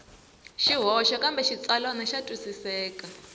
swihoxo kambe xitsalwana xa twisiseka